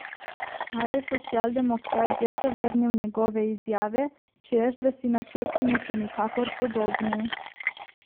A je socialdemokrat že zavrnil njegove izjave, češ da si načrti niso nikakor podobni.